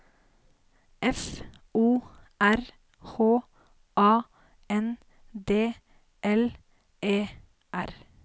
F O R H A N D L E R